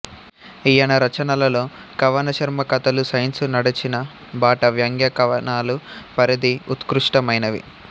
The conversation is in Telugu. ఈయన రచనలలో కవనశర్మ కథలు సైన్సు నడచిన బాట వ్యంగ్య కవనాలు పరిధి ఉత్కృష్టమైనవి